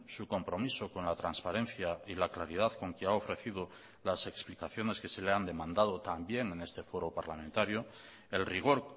su compromiso con la transparencia y la claridad con que ha ofrecido las explicaciones que se le han demandado también en este foro parlamentario el rigor